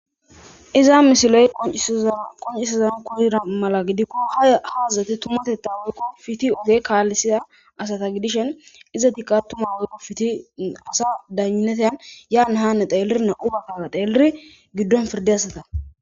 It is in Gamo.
iza misiley koncisazan kuzira mala gidikko ha haazazate tumatetta weykko fiti oge kaallisida asata gidishen iza tikatuma weyqo fiti asa daneteyn yaana haane xeelirna ubakkara teeliri giddon firde asata